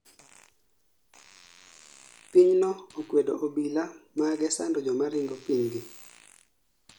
Pinyno okwedo obila mage sando jomoringo piny gi